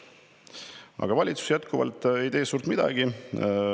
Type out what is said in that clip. Aga valitsus ei tee jätkuvalt suurt midagi.